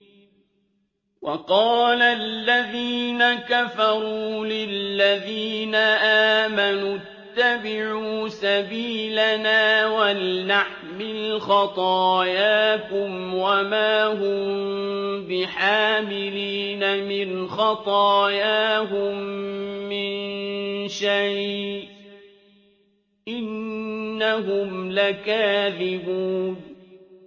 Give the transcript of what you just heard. وَقَالَ الَّذِينَ كَفَرُوا لِلَّذِينَ آمَنُوا اتَّبِعُوا سَبِيلَنَا وَلْنَحْمِلْ خَطَايَاكُمْ وَمَا هُم بِحَامِلِينَ مِنْ خَطَايَاهُم مِّن شَيْءٍ ۖ إِنَّهُمْ لَكَاذِبُونَ